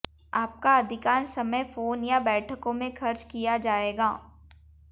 आपका अधिकांश समय फोन या बैठकों में खर्च किया जाएगा